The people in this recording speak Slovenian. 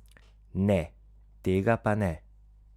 Ne, tega pa ne!